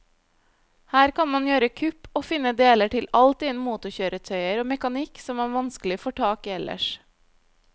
Her kan man gjøre kupp og finne deler til alt innen motorkjøretøyer og mekanikk som man vanskelig får tak i ellers.